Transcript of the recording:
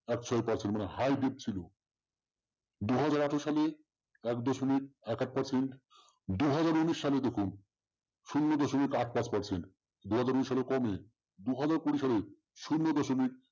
এক ছয় percent মানে হাইব্রিড ছিল দু হাজার এক সালে এক দশমিক এক আট percent দু হাজার উনিশ সালে দেখুন শূন্য দশমিক আট পাঁচ percent দু হাজার উনিশ এ সেটা কমে দু হাজার কুড়ি সালের শূন্য দশমিক